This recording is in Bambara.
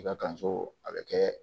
I ka kanso a bɛ kɛ